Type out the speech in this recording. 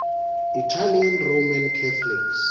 italian roman catholics